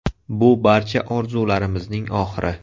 Bu barcha orzularimizning oxiri.